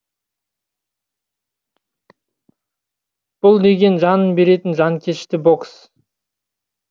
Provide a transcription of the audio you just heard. бұл деген жанын беретін жанкешті бокс